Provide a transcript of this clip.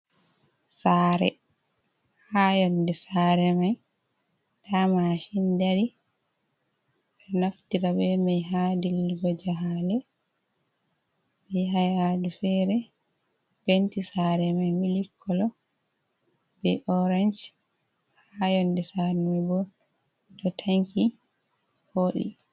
Sare, ha yonde sare mai da mashin dari be do naftira be mai ha dilligo jahale be hayadu fere. Penti sare mai mili kolo be orange ha yonde sare mai bo do tanki vodi.